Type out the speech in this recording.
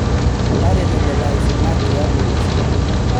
Tareto lelo asinak tiatua olosho.